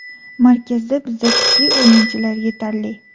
Markazda bizda kuchli o‘yinchilar yetarli.